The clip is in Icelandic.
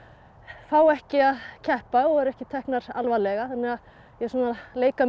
fá ekki að keppa og eru ekki teknar alvarlega þannig að ég er svona að leika mér